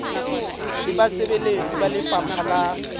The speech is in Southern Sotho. le basebeletsi ba lefapha la